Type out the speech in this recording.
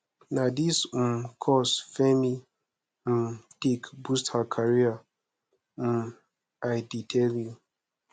na dis um course femi um take boost her career um i dey tell you